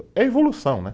É evolução, né?